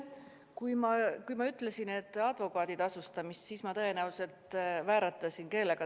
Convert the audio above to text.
Kui ma ütlesin, et eelnõu puudutab advokaatide tasustamist, siis mul tõenäoliselt keel vääratas.